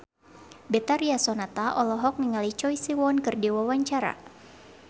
Betharia Sonata olohok ningali Choi Siwon keur diwawancara